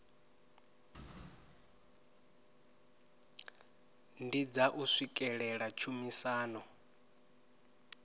ndi dza u swikelela tshumisano